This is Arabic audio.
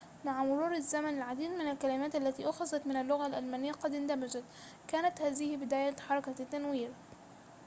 مع مرور الزمن العديد من الكلمات التي أُخِذَت من اللغة الألمانية قد اندمجت كانت هذه بداية حركة التنوير